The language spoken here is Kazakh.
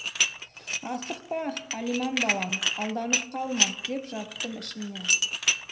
асықпа алиман балам алданып қалма деп жаттым ішімнен